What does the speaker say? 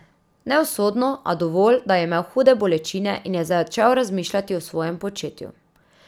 Ne usodno, a dovolj, da je imel hude bolečine in je začel razmišljati o svojem početju.